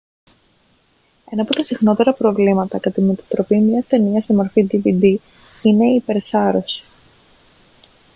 ένα από τα συχνότερα προβλήματα κατά τη μετατροπή μια ταινίας σε μορφή dvd είναι η υπερσάρωση